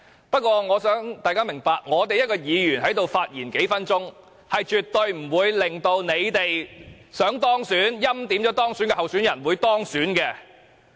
不過，我也想大家明白，議員在此發言短短數分鐘，是絕對不會令到他們欽點的候選人不能夠當選的。